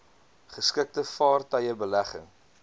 geskikte vaartuie belegging